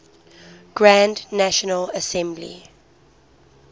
grand national assembly